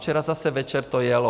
Včera zase večer to jelo.